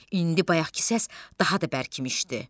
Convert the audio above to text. İndi bayaqkı səs daha da bərkimişdi.